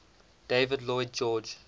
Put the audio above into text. david lloyd george